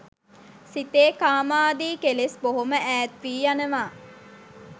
සිතේ කාමාදී කෙලෙස් බොහොම ඈත් වී යනවා.